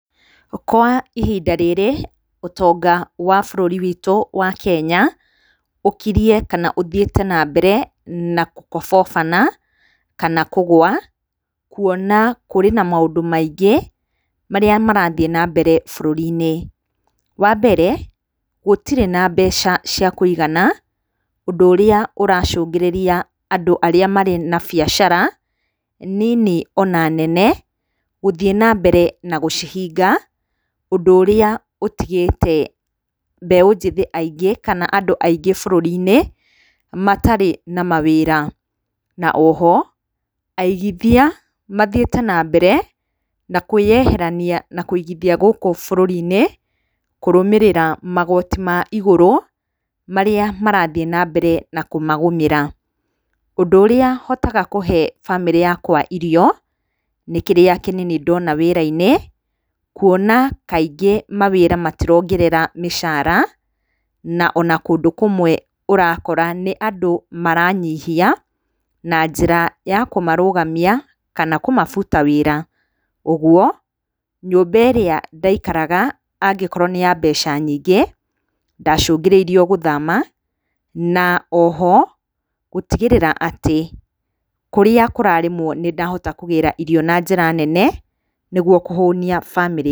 Kwa ihinda rĩrĩ ũtonga wa bũrũri witũ wa Kenya ũkiriĩ kana ũthiĩte na mbere na gũkobobana kana kũgwa, kuona kũrĩ na maũndũ maingĩ marĩa marathiĩ na mbere bũrũri-inĩ. Wa mbere, gũtirĩ na mbeca cia kũigana, ũndũ ũrĩa ũracũngĩrĩria andũ arĩa marĩ na biacara nini ona nene gũthiĩ na mbere na gũcihinga, ũndũ ũrĩa ũtigĩte mbeu njĩthĩ aingĩ kana andũ aingĩ bũrũri-inĩ matarĩ na mawĩra. Na o ho, aigithia mathiĩte na mbere na kũĩyeherania na kũigithia gũkũ bũrũri-inĩ, kũrũmĩrĩra magoti ma igũrũ marĩa marathiĩ na mbere na kũmagũmĩra. Ũndũ urĩa hotaga kũhe bamĩrĩ yakwa irio, nĩ kĩrĩa kĩnini ndona wĩra-inĩ, kuona kaingĩ mawĩra matirongerera mĩcara na ona kũndũ kumwe ũrakora nĩ andũ maranyihia na njĩra ya kũmarũgamia kana kũmabuta wĩra. Ũguo, nyũmba ĩrĩa ndaikaraga angĩkorwo nĩ ya mbeca nyingĩ, ndacũngĩrĩirio gũthama na o ho, gũtigĩrĩra atĩ kũrĩa kũrarĩmwo nĩ ndahota kũgĩra irio na njĩra nene nĩguo kũhũnia bamĩrĩ.